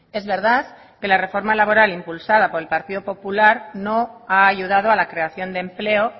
es verdad que la reforma laboral impulsada por el partido popular no ha ayudado a la creación de empleo